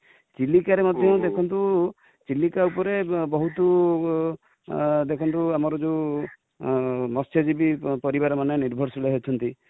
ଚିଲିକା ରେ ମଧ୍ୟ ଦେଖନ୍ତୁ, ଚିଲିକା ଉପରେ ବହୁତୁ, ଦେଖନ୍ତୁ ଆମର ଯୋଉ ମତ୍ସ୍ୟଯିବୀ ପରିବାର ମାନେ ନିର୍ଭରଶିଳ ଅଛନ୍ତି